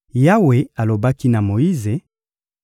Yawe alobaki na Moyize: